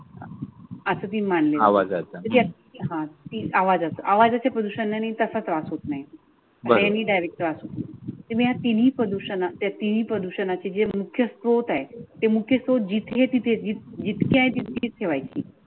आह तीन आवाज आवाजाचे प्रदूषण आणि तसा त्रास होत नाह. नेहमी डायरेक्टत्रास होतो तुम्ही या तीनही प्रदूषणा या तिन्ही प्रदूषणाचे मुख्य स्रोत आह. तें मुख्य स्रोत तें जिथे तिथे जितके आहे तितके ठेवायची.